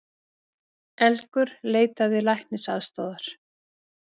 Elgur leitaði læknisaðstoðar